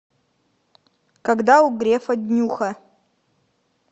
когда у грефа днюха